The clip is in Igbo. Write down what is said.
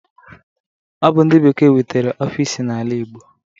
Ọ bụ ndị bekee wetara ọfis n'ala igbo